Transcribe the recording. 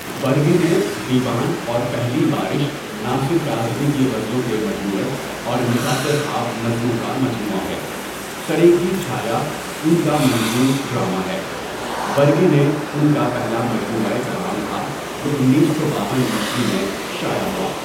برگِ نَے دیوان اور پہلی بارش ناصر کاظمی کی غزلوں کے مجموعے اور نشاطِ خواب نظموں کا مجموعہ ہے سٔر کی چھایا ان کا منظوم ڈراما ہے برگِ نَے ان کا پہلا مجموعہ کلام تھا جو انیس سو باون عیسوی میں شائع ہوا.